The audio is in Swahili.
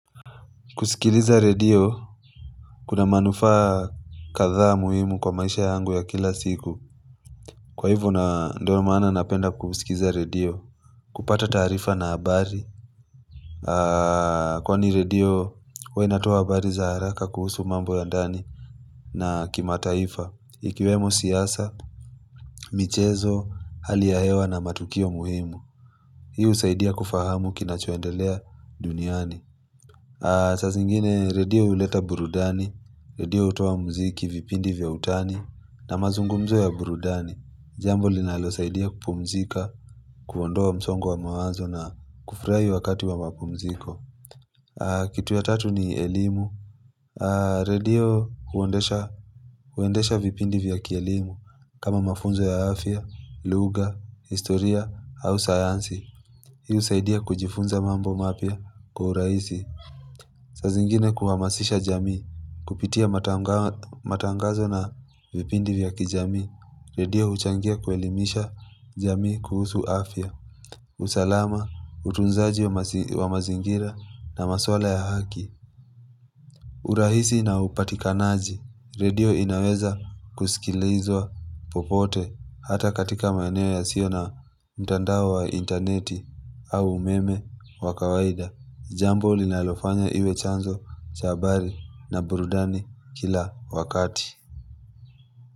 Kusikiliza redio, kuna manufaa kadha muhimu kwa maisha yangu ya kila siku. Kwa hivo na ndio maana napenda kusikiza redio, kupata taarifa na habari. Kwani redio, huwa inatoa habari za haraka kuhusu mambo ya ndani na kima taifa. Ikiwemo siasa, michezo, hali ya hewa na matukio muhimu. Hii usaidia kufahamu kina choendelea duniani. Saabzingine radio huleta burudani, radio hutoa mziki vipindi vya utani na mazungumzo ya burudani jambo linalo saidia kupumzika, kuondoa msongo mawazo na kufurahi wakati wa mapumziko Kitu ya tatu ni elimu Radio huendesha huendesha vipindi vya kielimu kama mafunzo ya afya, lugha, historia au sayansi Hii saidia kujifunza mambo mapya kwa uhurahisi saa zingine kuhamasisha jamii, kupitia matangazo na vipindi vya kijamii, redio huchangia kuelimisha jamii kuhusu afya, usalama, utunzaji wa mazingira na maswala ya haki urahisi na upatikanaji, redio inaweza kusikilizwa popote hata katika maeneo yasio na mtandao wa interneti au umeme wa kawaida Jambo linalofanya iwe chanzo, chahabari na burudani kila wakati.